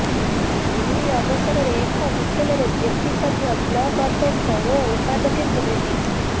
ଏହି ଅବସରରେ ଏକ ହୋଟେଲରେ ଜେପି ସଭ୍ୟ ବ୍ଳକ୍ ଅଧ୍ୟକ୍ଷ ଓ ଉପାଧ୍ୟକ୍ଷଙ୍କୁ ଭେଟିବେ